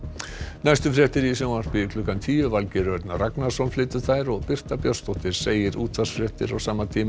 næstu fréttir í sjónvarpi eru klukkan tíu Valgeir Örn Ragnarsson flytur þær og Birta Björnsdóttir segir útvarpsfréttir á sama tíma